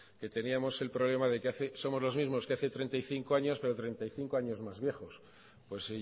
que teníamos el problema de que somos los mismos que hace treinta y cinco años pero treinta y cinco años más viejos y hoy pues